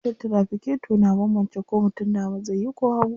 Wutar tiraficator na banbance ko mutum dama zai yi ko hagu.